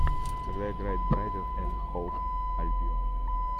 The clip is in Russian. когда играет брайтон энд хоув альбион